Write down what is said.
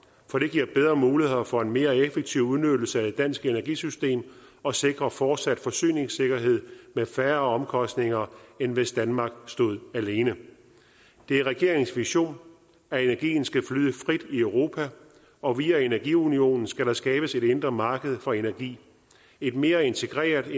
for det giver bedre muligheder for en mere effektiv udnyttelse af et dansk energisystem og sikrer fortsat forsyningssikkerhed med færre omkostninger end hvis danmark stod alene det er regeringens vision at energien skal flyde frit i europa og via energiunionen skal der skabes et indre marked for energi et mere integreret